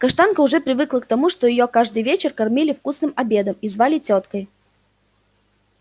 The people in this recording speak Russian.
каштанка уже привыкла к тому что её каждый вечер кормили вкусным обедом и звали тёткой